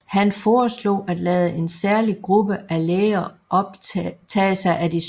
Han foreslog at lade en særlig gruppe af læger tage sig af de syge